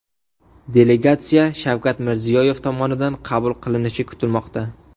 Delegatsiya Shavkat Mirziyoyev tomonidan qabul qilinishi kutilmoqda.